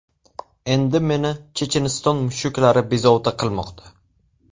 Endi meni Checheniston mushuklari bezovta qilmoqda.